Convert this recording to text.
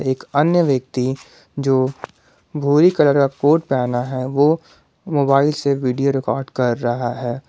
एक अन्य व्यक्ति जो भूरी कलर का कोट पहना है वो मोबाइल से वीडियो रिकॉर्ड कर रहा है।